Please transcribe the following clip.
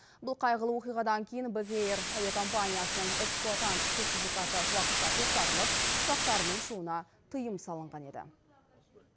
бұл қайғылы оқиғадан кейін бек эйр әуе компаниясының эксплуатант сертификаты уақытша тоқталып ұшақтарының ұшуына тыйым салынған еді